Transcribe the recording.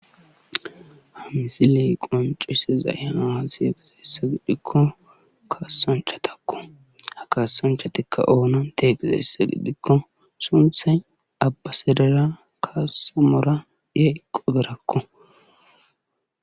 Ha misile qonccisiday aze gizayssa gidikko kasanchatakko ha kasanchatiikka oonante gizaysssa gidikko sunththay absidera kasamora yayqobarakko.